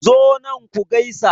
Zo nan ku gaisa.